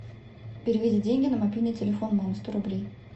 переведи деньги на мобильный телефон мамы сто рублей